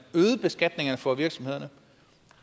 øgede beskatningerne for virksomhederne